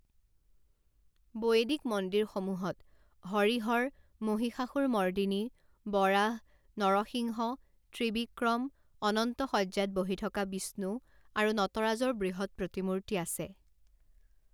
বৈদিক মন্দিৰসমূহত হৰিহৰ, মহিষাসুৰমৰ্দিনী, বৰাহ, নৰসিংহ, ত্ৰিবিক্ৰম, অনন্ত শয্যাত বহি থকা বিষ্ণু আৰু নটৰাজৰ বৃহৎ প্ৰতিমূৰ্তি আছে।